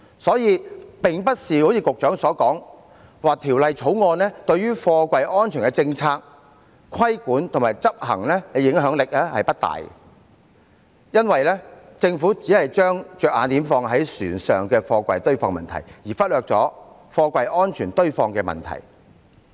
所以，並非如局長所言，《條例草案》對於貨櫃安全的政策、規管和執行的影響不大，因為政府只是把着眼點放在船上貨櫃堆放的問題，而忽略了貨櫃安全堆放的問題。